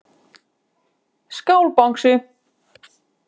Skál Bangsi.